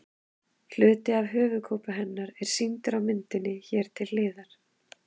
Hluti af höfuðkúpu hennar er sýndur á myndinni hér til hliðar.